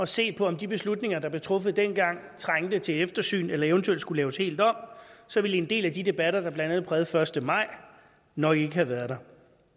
se på om de beslutninger der blev truffet engang trængte til eftersyn eller eventuelt skulle laves helt om så ville en del af de debatter der blandt andet prægede den første maj nok ikke have været der